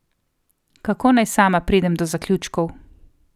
Kako naj sama pridem do zaključkov.